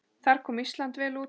Þar kom Ísland vel út.